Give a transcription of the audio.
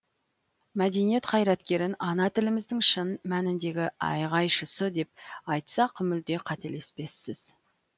мәдениет қайраткерін ана тіліміздің шын мәніндегі айғайшысы деп айтсақ мүлде қателеспеспіз